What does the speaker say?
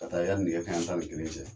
Ka taa yani nɛgɛ kaɲan tan ni kelen cɛ